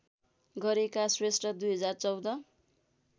गरेका श्रेष्ठ २०१४